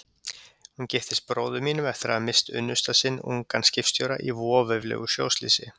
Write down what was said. Hún giftist bróður mínum eftir að hafa misst unnusta sinn, ungan skipstjóra, í voveiflegu sjóslysi.